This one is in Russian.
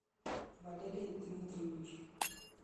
валерий дмитриевич